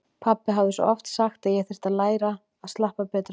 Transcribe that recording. Pabbi hafði svo oft sagt að ég þyrfti að læra að slappa betur af.